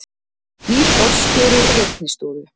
Nýr forstjóri Reiknistofu